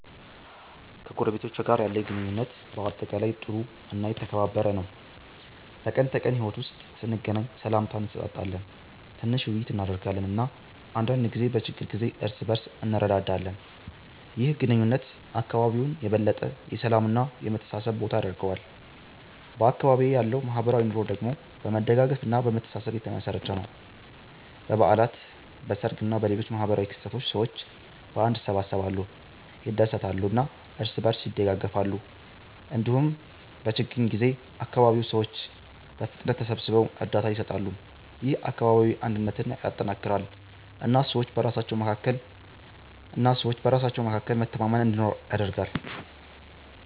ከጎረቤቶቼ ጋር ያለኝ ግንኙነት በአጠቃላይ ጥሩ እና የተከባበረ ነው። በቀን ተቀን ሕይወት ውስጥ ስንገናኝ ሰላምታ እንሰጣጣለን፣ ትንሽ ውይይት እናደርጋለን እና አንዳንድ ጊዜ በችግር ጊዜ እርስ በእርስ እንረዳዳለን። ይህ ግንኙነት አካባቢውን የበለጠ የሰላም እና የመተሳሰብ ቦታ ያደርገዋል። በአካባቢዬ ያለው ማህበራዊ ኑሮ ደግሞ በመደጋገፍ እና በመተሳሰብ የተመሠረተ ነው። በበዓላት፣ በሰርግ እና በሌሎች ማህበራዊ ክስተቶች ሰዎች በአንድነት ይሰበሰባሉ፣ ይደሰታሉ እና እርስ በእርስ ይደጋገፋሉ። እንዲሁም በችግኝ ጊዜ አካባቢው ሰዎች በፍጥነት ተሰብስበው እርዳታ ይሰጣሉ። ይህ አካባቢያዊ አንድነትን ያጠናክራል እና ሰዎች በራሳቸው መካከል መተማመን እንዲኖር ያደርጋል።